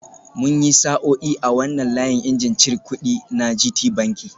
Mun yi sa'o'i a wannan layin injin cir kudi na Gtbanki